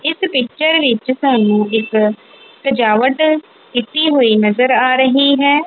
ਇੱਸ ਪਿਕਚਰ ਵਿੱਚ ਸਾਨੂੰ ਇੱਕ ਸਜਾਵਟ ਕੀਤੀ ਹੋਈ ਨਜ਼ਰ ਆ ਰਹੀ ਹੈ।